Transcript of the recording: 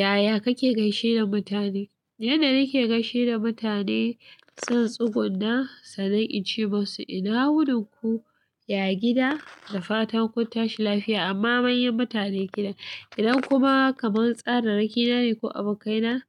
Yaya kake gaishe da mutane? Yanda nake gaishe da mutane, zan tsugunna sannan in ce musu ina wunin ku, ya gida da fatan kun tashi lafiya amma manyan mutane gida. Idan kuma kaman tsararraki na ne ko abokaina,